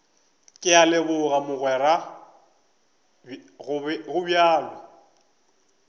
ke a leboga mogweraka gobjalo